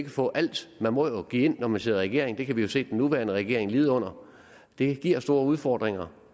få alt man må jo give noget når man sidder i regering det kan vi jo se den nuværende regering lide under det giver store udfordringer